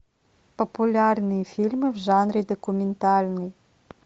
популярные фильмы в жанре документальный